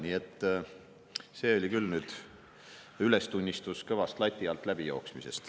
Nii et see oli küll nüüd ülestunnistus, et kõvasti on lati alt läbi joostud.